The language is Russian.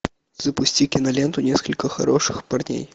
запусти киноленту несколько хороших парней